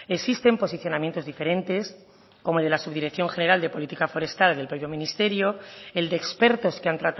existen posicionamientos diferentes como el de la subdirección general de política forestal del propio ministerio el de expertos que han